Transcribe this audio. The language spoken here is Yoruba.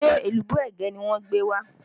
Ṣé èlùbọ́ ẹ̀gẹ́ ni wọ́n gbé wá?